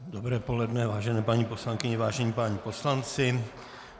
Dobré poledne, vážené paní poslankyně, vážení páni poslanci.